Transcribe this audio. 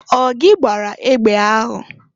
Ọ gị gbara egbe ahụ?